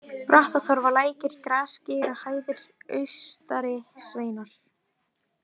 Brattatorfa, Lækir, Grasgeirahæðir, Austari-Sveinar